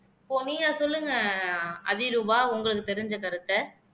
இப்போ நீங்க சொல்லுங்க அதிரூபா உங்களுக்கு தெரிஞ்ச கருத்தை